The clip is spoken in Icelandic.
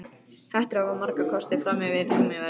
Hettur hafa marga kosti fram yfir gúmmíverjurnar.